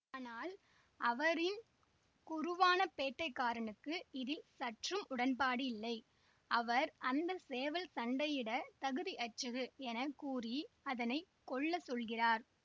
ஆனால் அவரின் குருவான பேட்டைக்காரனுக்கு இதில் சற்றும் உடன்பாடில்லை அவர் அந்த சேவல் சண்டையிடத் தகுதியற்றது என கூறி அதனை கொல்லச் சொல்கிறார்